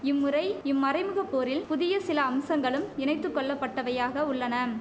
இம்முறை இம்மறைமுகப்போரில் புதிய சில அம்சங்களும் இணைத்து கொள்ளப்பட்டவையாக உள்ளனம்